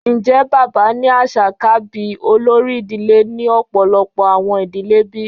Njẹ baba ni aṣa ka bi olori idile ni ọpọlọpọ awọn idile bi?